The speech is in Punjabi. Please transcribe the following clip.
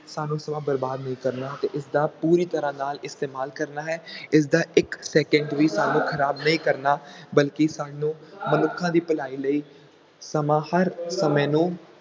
ਸਾਨੂੰ ਸਮਾਂ ਬਰਬਾਦ ਨਹੀਂ ਕਰਨਾ ਤੇ ਇਸਦਾ ਪੂਰੀ ਤਰ੍ਹਾਂ ਨਾਲ ਇਸਤੇਮਾਲ ਕਰਨਾ ਹੈ, ਇਸਦਾ ਇੱਕ ਸੈਕੰਟ ਵੀ ਸਾਨੂੰ ਖ਼ਰਾਬ ਨਹੀਂ ਕਰਨਾ ਬਲਕਿ ਸਾਨੂੰ ਮਨੁੱਖਾਂ ਦੀ ਭਲਾਈ ਲਈ ਸਮਾਂ ਹਰ ਸਮੇਂ ਨੂੰ